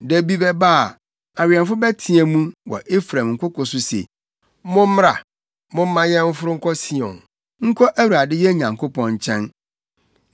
Da bi bɛba a, awɛmfo bɛteɛ mu wɔ Efraim nkoko so se, ‘Mommra, momma yɛnforo nkɔ Sion, nkɔ Awurade yɛn Nyankopɔn nkyɛn.’ ”